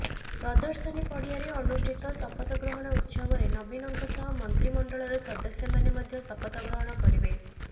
ପ୍ରଦର୍ଶନୀ ପଡିଆରେ ଅନୁଷ୍ଠିତ ଶପଥ ଗ୍ରହଣ ଉତ୍ସବରେ ନବୀନଙ୍କ ସହ ମନ୍ତ୍ରିମଣ୍ଡଳର ସଦସ୍ୟମାନେ ମଧ୍ୟ ଶପଥ ଗ୍ରହଣ କରିବେ